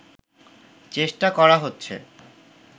চেষ্টা করা হচ্ছে